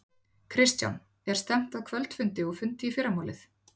Kristján: Er stefnt að kvöldfundi og fundi í fyrramálið?